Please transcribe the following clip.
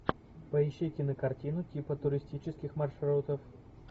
поищи кинокартину типа туристических маршрутов